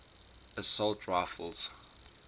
assault rifles